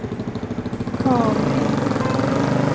Karl Lindgren